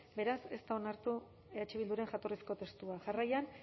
beraz ez da onartu eh bilduren jatorrizko testua jarraian